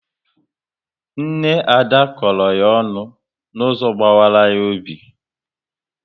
Nne Ada kọrọ ya ọnụ n'ụzọ gbawara ya obi